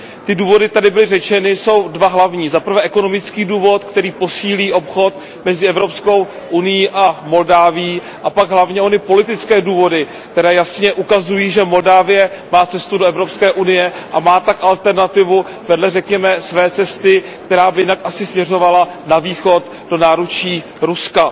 Ty důvody tady byly řečeny, jsou dva hlavní za prvé ekonomický důvod, který posílí obchod mezi EU a Moldavskem, a pak hlavně ony politické důvody, které jasně ukazují, že Moldávie má cestu do EU, a má tak alternativu vedle, řekněme, své cesty, která by jinak asi směřovala na východ do náručí Ruska.